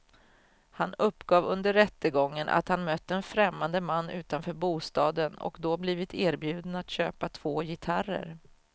Han uppgav under rättegången att han mött en främmande man utanför bostaden och då blivit erbjuden att köpa två gitarrer.